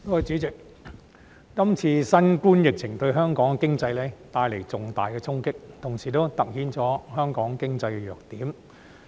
主席，這次新冠疫情對香港經濟帶來重大衝擊，同時突顯了香港經濟的弱點。